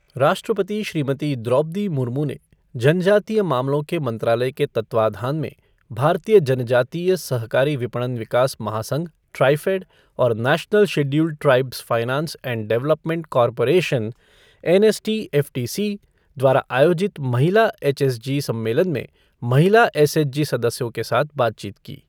राष्ट्रपति श्रीमती द्रौपदी मुर्मु ने जनजातीय मामलों के मंत्रालय के तत्वाधान में भारतीय जनजातीय सहकारी विपणन विकास महासंघ ट्राइफ़ेड और national scheduled tribes finance and development corporation NSTFDC द्वारा आयोजित महिला एसएचजी सम्मेलन में महिला एसएचजी सदस्यों के साथ बातचीत की।